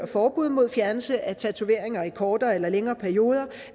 forbud mod fjernelse af tatoveringer i kortere eller længere perioder